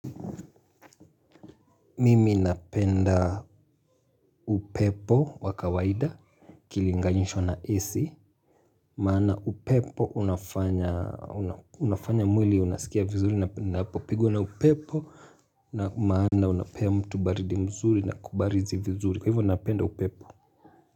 Mimi napenda upepo wa kawaida ikilinganishwa na AC maana upepo unafanya unafanya mwili unasikia vizuri napogiwa na upepo na maana unapea mtu baridi mzuri na kubarizi vizuri kwa hivyo napenda upepo.